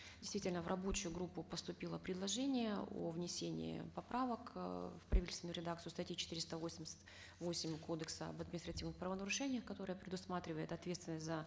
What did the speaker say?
действительно в рабочую группу поступило предложение о внесении поправок э в правительственную редакцию статьи четыреста восемьдесят восемь кодекса об административных правонарушениях которая предусматривает ответственность за